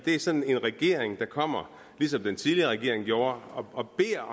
er sådan en regering der kommer ligesom den tidligere regering gjorde og beder